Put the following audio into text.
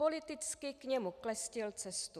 Politicky k němu klestil cestu."